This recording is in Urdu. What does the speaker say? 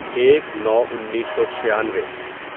ایک نو انیسو چھیانوے